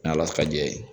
Ni ala fa ye